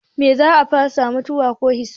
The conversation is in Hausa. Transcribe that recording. Me za a fasa? Mutuwa ko hisabi?